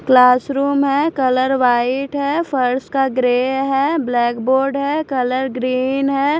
Class room है colour white है फर्श का ग्रे है ब्लैक बोर्ड है कलर ग्रीन है।